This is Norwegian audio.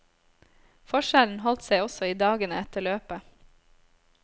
Forskjellen holdt seg også i dagene etter løpet.